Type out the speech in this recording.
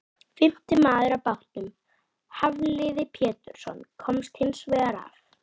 Fimmti maður á bátnum, Hafliði Pétursson, komst hins vegar af.